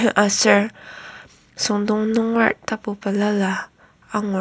aser süngdong nungera tapu balala angur.